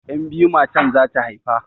Yan' biyu matan zata haifa.